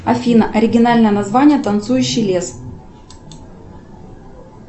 афина оригинальное название танцующий лес